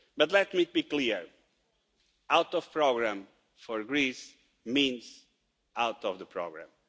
But let me be clear, being out of the programme means Greece being out of the programme.